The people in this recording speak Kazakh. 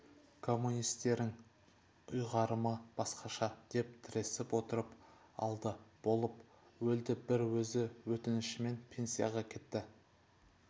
коммунистернң ұйғарымы басқаша деп тіресіп отырып алды болып өлді бір өзі өтінішімен пенсияға кетті